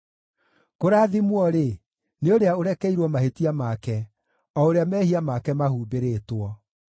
Kũrathimwo-rĩ, nĩ ũrĩa ũrekeirwo mahĩtia make, o ũrĩa mehia make mahumbĩrĩtwo.